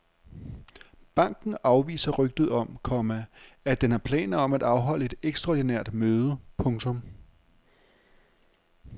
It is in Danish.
Banken afviser rygter om, komma at den har planer om at afholde et ekstraordinært møde. punktum